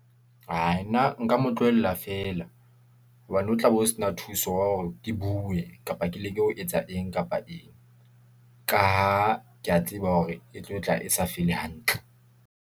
Aai nna nka mo tlohella feela , hobane ho tlabe ho se na thuso wa hore ke bue, kapa ke leke ho etsa eng kapa eng , ka ha ke ya tseba hore e tlo tla e sa feel-i hantle.